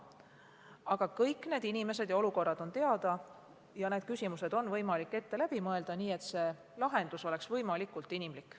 Aga kõik need inimesed ja olukorrad on teada ja need küsimused on võimalik ette läbi mõelda, nii et lahendus oleks võimalikult inimlik.